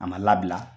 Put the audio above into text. A ma labila